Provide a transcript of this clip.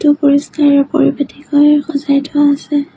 পৰিষ্কাৰ আৰু সজাই থোৱা হৈছে।